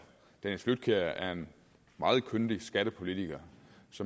dennis flydtkjær er en meget kyndig skattepolitiker